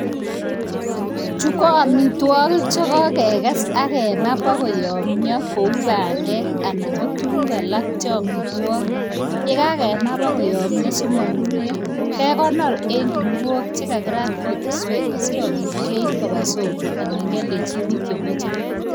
Chu ko amitwogik che koges ak kema bo koyamyo kuo bandek anan ko tuguk alak che amitwogik. Ye kagema bo koyamyo simanunio, kegonor en kuniok che kagirat kutuswek asigopit keip koba soko anan kialdechi biik chemache.